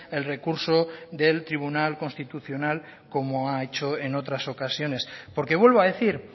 el recurso del tribunal constitucional como ha hecho en otras ocasiones porque vuelvo a decir